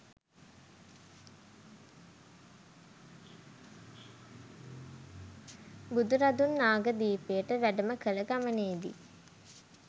බුදුරදුන් නාගදීපයට වැඩම කළ ගමනේ දී